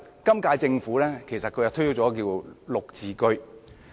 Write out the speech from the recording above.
今屆政府其實推出了"綠置居"。